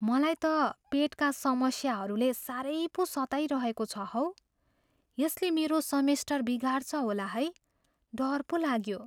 मलाई त पेटका समस्याहरूले साह्रै पो सताइरहेको छ हौ। यसले मेरो सेमेस्टर बिगार्छ होला है। डर पो लाग्यो।